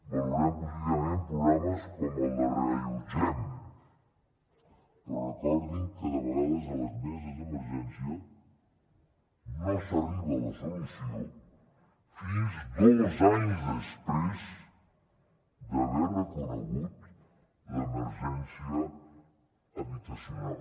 valorem positivament programes com el de reallotgem però recordin que de vegades a les meses d’emergència no s’arriba a la solució fins dos anys després d’haver reconegut l’emergència habitacional